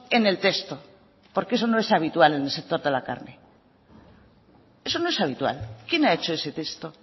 en el texto porque eso no es habitual en el sector de la calle eso no es habitual quién ha hecho ese texto